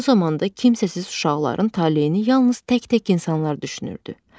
O zamanda kimsəsiz uşaqların taleyini yalnız tək-tək insanlar düşünürdü.